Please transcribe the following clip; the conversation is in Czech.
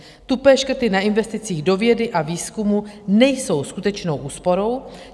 Tupé škrty na investicích do vědy a výzkumu nejsou skutečnou úsporou.